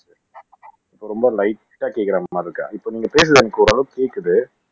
இப்ப கொஞ்சம் லைட்டா கேக்குற மாதிரி இருக்கு இப்ப நீங்க பேசுறது எனக்கு ஓரளவு கேக்குது